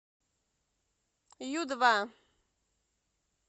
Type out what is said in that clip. ю два